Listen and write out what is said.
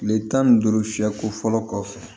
Kile tan ni duuru fiyɛ ko fɔlɔ kɔfɛ